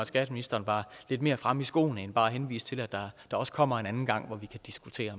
skatteministeren var lidt mere fremme i skoene end bare henviser til at der også kommer en anden gang hvor vi kan diskutere